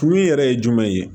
Kuru in yɛrɛ ye jumɛn ye